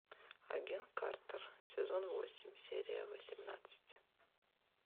агент картер сезон восемь серия восемнадцать